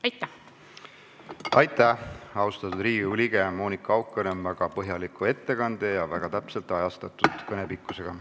Aitäh, austatud Riigikogu liige Monika Haukanõmm, väga põhjaliku ettekande ja kõne väga täpse pikkuse eest!